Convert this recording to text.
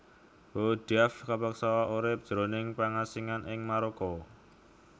Boudiaf kapeksa urip jroning pangasingan ing Maroko